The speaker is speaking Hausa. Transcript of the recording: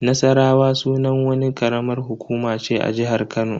Nassarawa sunan wani karamar hukuma ce a jihar Kano.